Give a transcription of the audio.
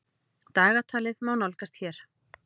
Dagatalið má nálgast hér.